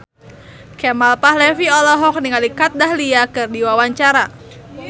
Kemal Palevi olohok ningali Kat Dahlia keur diwawancara